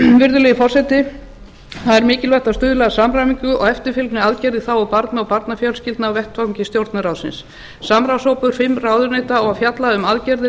virðulegi forseti það er mikilvægt að stuðla að samræmingu og eftirfylgni aðgerða í þágu barna og barnafjölskyldna á vettvangi stjórnarráðsins samráðshópur fimm ráðuneyta á að fjalla um aðgerðir